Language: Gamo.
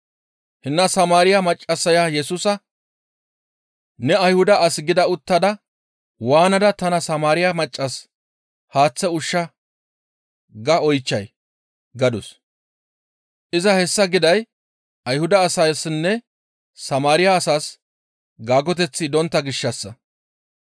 Hinna Samaariya maccassaya Yesusa, «Ne Ayhuda as gida uttada waanada tana Samaariya maccas, ‹Haaththe ushsha› ga oychchay?» gadus; iza hessa giday Ayhuda asaassinne Samaariya asas gaagoteththi dontta gishshassa.